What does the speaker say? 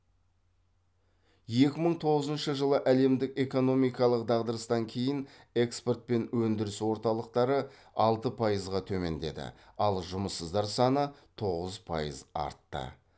екі мың тоғызыншы жылы әлемдік экономикалық дағдарыстан кейін экспорт пен өндіріс орталықтары алты пайызға төмендеді ал жұмыссыздар саны тоғыз пайыз артты